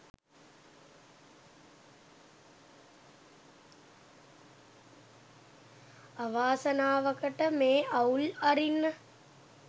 අවාසනාවකට මේ අවුල් අරින්න